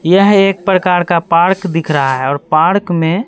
यह एक प्रकार का पार्क दिख रहा है और पार्क में--